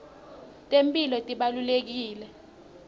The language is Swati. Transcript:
temphilo tibalulekile